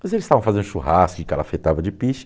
Mas eles estavam fazendo churrasco e calafetava de piche.